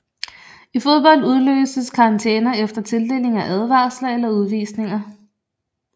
I fodbold udløses karantæner efter tildeling af advarsler eller udvisninger